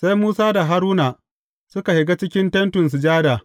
Sai Musa da Haruna suka shiga cikin Tentin Sujada.